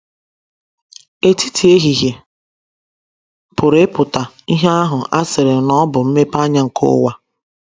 ‘ Etiti ehihie ’ pụrụ ịpụta ihe ahụ a sịrị na ọ bụ mmepeanya nke ụwa.